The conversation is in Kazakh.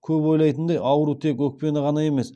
көбі ойлайтындай ауру тек өкпені ғана емес